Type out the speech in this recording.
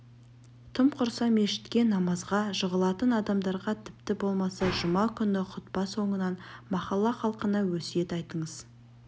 тым құрса мешітке намазға жығылатын адамдарға тіпті болмаса жұма күні хұтпа соңынан махалла халқына өсиет айтыңыз